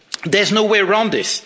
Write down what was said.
There is no way round this.